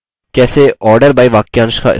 कैसे order by वाक्यांश का इस्तेमाल करें